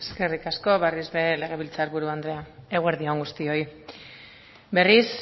eskerrik asko berriz ere legebiltzar buru andrea eguerdi on guztioi berriz